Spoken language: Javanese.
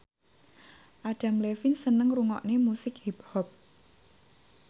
Adam Levine seneng ngrungokne musik hip hop